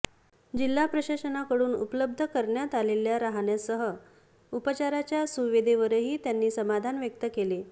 जिल्हा प्रशासनाकडून उपलब्ध करण्यात आलेल्या रहाण्यासह उपचाराच्या सुविधेवरही त्यांनी समाधान व्यक्त केले